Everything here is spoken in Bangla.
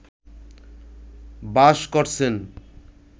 বাস করছেন